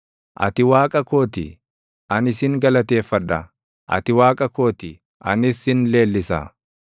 Ati Waaqa koo ti; ani sin galateeffadha; ati Waaqa koo ti; anis sin leellisa.